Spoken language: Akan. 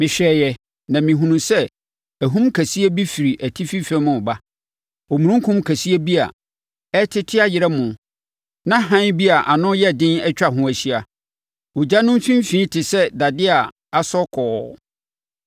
Mehwɛeɛ na mehunuu sɛ ahum kɛseɛ bi firi atifi fam reba, omununkum kɛseɛ bi a ɛrete ayerɛmo na hann bi a ano yɛ den atwa ho ahyia. Ogya no mfimfini te sɛ dadeɛ a asɔ kɔɔ.